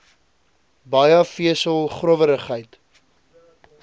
baie vesel growwerigheid